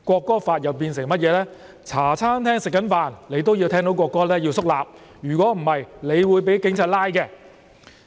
便是如果你在茶餐廳用膳時聽到國歌也要肅立，否則你便會被警察拘捕。